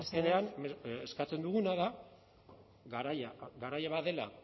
mesedez azkenean eskatzen duguna da garaia badela